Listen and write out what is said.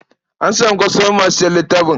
An samu kwastomomi masu sayan littafin.